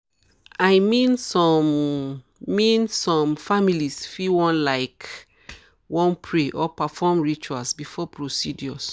i mean some mean some families fit laik wan pray or perform rituals before procedures.